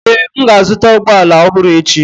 Ee, m ga-azụta ụgbọ ala ọhụrụ echi.